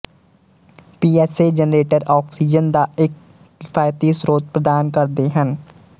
PSA generator oxygen ਦਾ ਇੱਕ ਕਿਫ਼ਾਇਤੀ ਸਰੋਤ ਪ੍ਰਦਾਨ ਕਰਦੇ ਹਨ